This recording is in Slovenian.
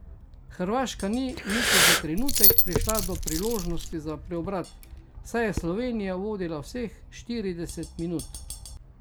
Hrvaška ni niti za trenutek prišla do priložnosti za preobrat, saj je Slovenija vodila vseh štirideset minut.